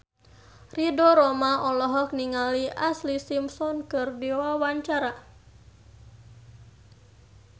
Ridho Roma olohok ningali Ashlee Simpson keur diwawancara